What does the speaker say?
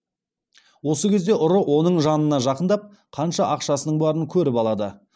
осы кезде ұры оның жанына жақындап қанша ақшасының барын көріп алады